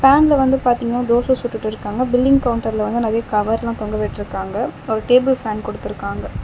பேன்ல வந்து பாத்திங்னா தோச சுட்டுட்டுயிருக்காங்க. பில்லிங் கவுண்டர்ல வந்து நறைய கவர்லா தொங்க விட்டிருக்காங்க. ஒரு டேபிள் ஃபேன் குடுத்துருக்காங்க.